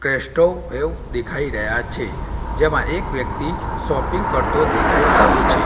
ગેસ્ટો બેવ દેખાય રહ્યા છે જેમા એક વ્યક્તિ શોપિંગ કરતો દેખાય રહ્યો છે.